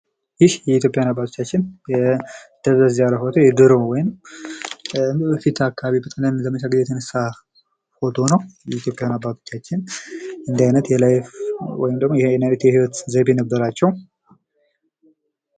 ይህ ኢትዮጵያውያን አባቶቻችን የደበዘዘ ፎቶ ወይም በዘመቻ ጊዜ የተነሱት ፎቶ ሲሆን፤ ድሮ አባቶቻችን እንደዚህ አይነት የህይወት ዘይቤ እንደነበራቸው የሚያሳይ ነው።